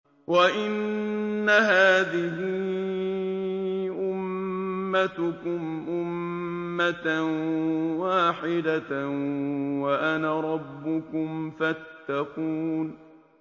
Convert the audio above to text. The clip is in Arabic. وَإِنَّ هَٰذِهِ أُمَّتُكُمْ أُمَّةً وَاحِدَةً وَأَنَا رَبُّكُمْ فَاتَّقُونِ